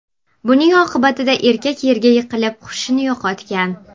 Buning oqibatida erkak yerga yiqilib, hushini yo‘qotgan.